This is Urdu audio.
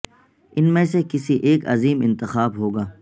ان میں سے کسی ایک عظیم انتخاب ہو گا